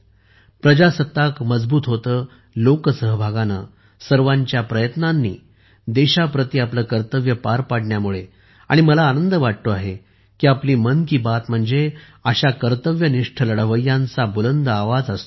प्रजासत्ताक मजबूत होते लोकसहभागाने सर्वांच्या प्रयत्नांनी देशाप्रती आपले कर्तव्य पार पाडण्याने आणि मला आनंद वाटतो आहे की आपली मन की बात म्हणजे अशा कर्तव्यनिष्ठ लढवय्यांचा बुलंद आवाज असतो